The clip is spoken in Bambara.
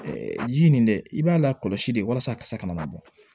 ji nin dɛ i b'a la kɔlɔsi de walasa a ka se ka ka na bɔ